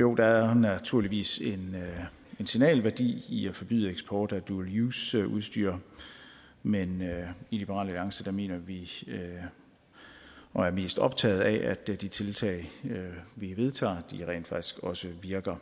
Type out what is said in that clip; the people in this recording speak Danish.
jo der er naturligvis en signalværdi i at forbyde eksport af dual use udstyr men i liberal alliance mener vi og er mest optaget af at de tiltag vi vedtager rent faktisk også virker